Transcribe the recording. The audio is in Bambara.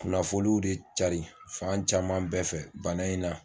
Kunnafoliw de cari fan caman bɛɛ fɛ bana in na.